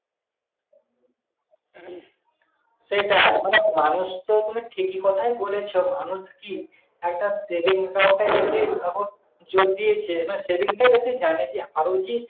সেটাই মানে মানুষ তো তুমি ঠিকই কথাই বলেছ মানুষ কি? একটা savings account টায় জটিল এখন যদি সে মানে savings টায় বেশি যে আরো যে,